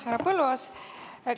Härra Põlluaas!